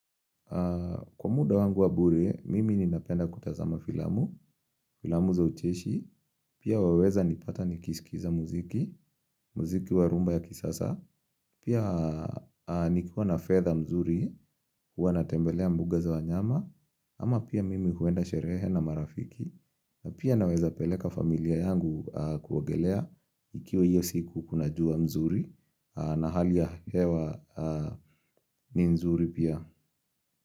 Kwa muda wangu wa bure, mimi ninapenda kutazama filamu, filamu za ucheshi, pia waweza nipata nikisikiza muziki, muziki wa rhumba ya kisasa, pia nikiwa na fedha mzuri, huwa natembelea mbuga za wanyama, ama pia mimi huenda sherehe na marafiki, na pia naweza peleka familia yangu kuogelea, ikiwa iyo siku kuna jua mzuri, na hali ya hewa ni nzuri pia.